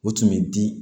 U tun bɛ di